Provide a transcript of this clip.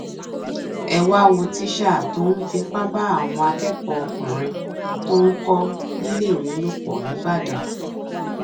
ẹ wáá wo tíṣà tó tó ń fipá bá àwọn akẹkọọ ọkùnrin tó ń kó níléèwé lò pọ nìbàdàn